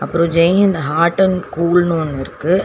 அப்றோ Jaihind hot and கூல்னு ஒன்னு இருக்கு.